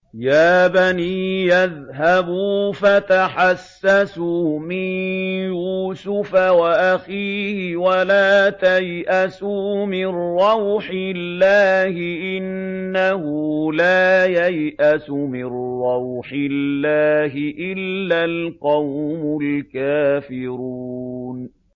يَا بَنِيَّ اذْهَبُوا فَتَحَسَّسُوا مِن يُوسُفَ وَأَخِيهِ وَلَا تَيْأَسُوا مِن رَّوْحِ اللَّهِ ۖ إِنَّهُ لَا يَيْأَسُ مِن رَّوْحِ اللَّهِ إِلَّا الْقَوْمُ الْكَافِرُونَ